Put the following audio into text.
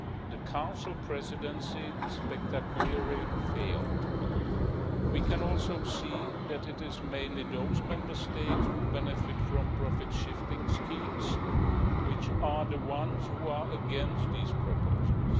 The Council Presidency spectacularly failed. We can also see that it is mainly those Member States who benefit from profit shifting schemes which are the ones who are against these proposals.